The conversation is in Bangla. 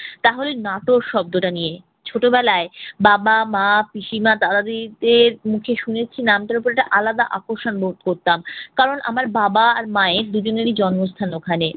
তাহলে নাটোর শব্দটা নিয়ে ছোটবেলায় বাবা, মা, পিসিমা, দাদা, দিদিদের মুখে শুনেছি নামটার উপর একটা আলাদা আকর্ষণ বোধ করতাম। কারণ আমার বাবা আর মায়ের দুইজনেরই জন্মস্থান ওখানে।